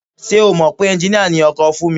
Ṣé o mọ̀ pé ẹnjiníà ni ọkọ Fúnmi?